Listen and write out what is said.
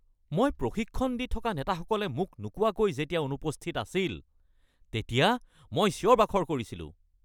মই প্ৰশিক্ষণ দি থকা নেতাসকলে মোক নোকোৱাকৈ যেতিয়া অনুপস্থিত আছিল তেতিয়া মই চিঞৰ-বাখৰ কৰিছিলোঁ।